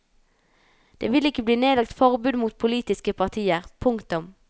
Det vil ikke bli nedlagt forbud mot politiske partier. punktum